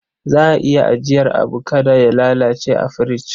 Za a iya ajiyar abu kada ya lalace a firich.